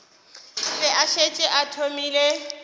be a šetše a thomile